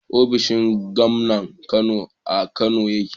ofishin Gomnan Kano a Kano yake